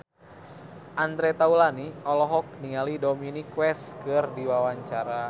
Andre Taulany olohok ningali Dominic West keur diwawancara